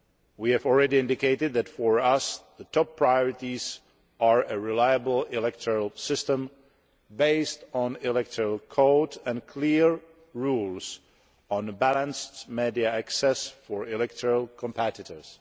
We have already indicated that, for us, the top priorities are a reliable electoral system based on an electoral code and clear rules on balanced media access for electoral competitors.